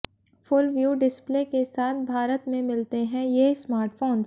full view display के साथ भारत में मिलते हैं ये स्मार्टफोंस